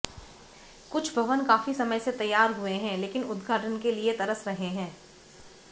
कुछ भवन काफी समय से तैयार हुए हैं लेकिन उद्घाटन के लिए तरस रहे हैं